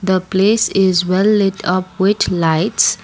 the place is well lit up with lights.